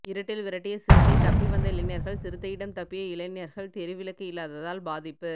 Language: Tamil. இருட்டில் விரட்டிய சிறுத்தை தப்பி வந்த இளைஞர்கள் சிறுத்தையிடம் தப்பிய இளைஞர்கள் தெருவிளக்கு இல்லாததால் பாதிப்பு